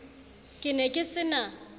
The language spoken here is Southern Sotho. ke ne ke se na